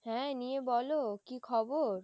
হ্যাঁ নিয়ে বলো কি খবর?